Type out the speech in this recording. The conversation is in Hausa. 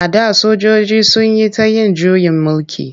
A da sojoji sun yi ta yin juyin mulki.